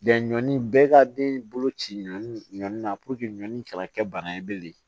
ɲɔni bɛɛ ka den bolo ci ɲɔnni na ɲɔni kana kɛ bana ye bilen